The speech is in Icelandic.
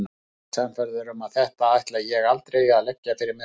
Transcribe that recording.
Ég er sannfærður um að þetta ætla ég aldrei að leggja fyrir mig aftur.